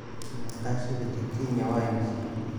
Meeqa shilinka Kenya waa imisa?